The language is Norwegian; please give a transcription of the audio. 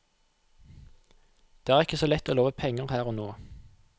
Det er ikke så lett å love penger her og nå.